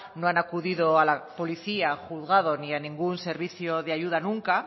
no han acudido a la policía al juzgado ni a ningún servicio de ayuda nunca